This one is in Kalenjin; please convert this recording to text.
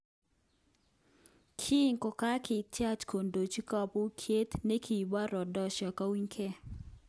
Kin kokakitiach kodochi kobokyinet nekibo Rhodesia kounyege.